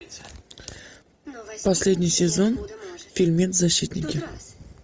последний сезон фильмец защитники